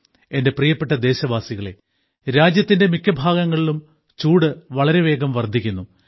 എന്റെ പ്രിയപ്പെട്ട ദേശവാസികളേ രാജ്യത്തിന്റെ മിക്ക ഭാഗങ്ങളിലും ചൂട് വളരെ വേഗം വർദ്ധിക്കുന്നു